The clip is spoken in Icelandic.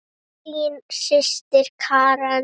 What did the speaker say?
Þín systir Karen.